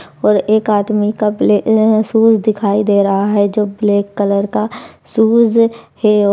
और एक आदमी का ब्ले ए शूज दिखाई दे रहा है जो ब्लैक कलर का शूज है।